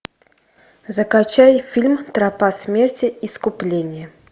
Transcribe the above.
закачай фильм тропа смерти искупление